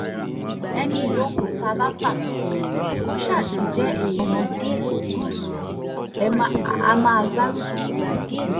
ẹnì yòówù tá a bá fà kalẹ̀ kó ṣáà ti jẹ́ èèyàn gúúsù á máa gbárùkù tì í